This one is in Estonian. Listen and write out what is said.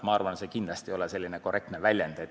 Ma arvan, et see kindlasti ei ole korrektne väljend.